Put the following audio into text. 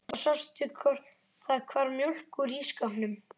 Og sástu hvort það hvarf mjólk úr ísskápnum?